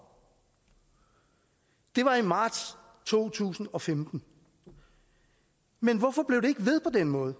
det var i marts to tusind og femten men hvorfor blev det ikke ved på den måde